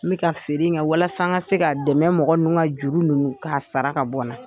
N bɛ ka feere kƐ walasa n ka se ka dɛmɛ mɔgɔ ninnu ka juru ninnu sara ka bɔn na